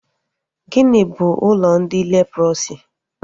Gịnị bụ ụlọ ndị leprọsi?